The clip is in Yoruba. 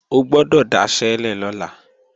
O gbọ́dọ̀ daṣẹ́lẹ̀ lọ́la!